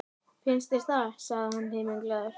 Finnst þér það? sagði hann himinglaður.